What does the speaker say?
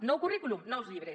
nou currículum nous llibres